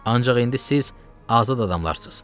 Ancaq indi siz azad adamlarsız.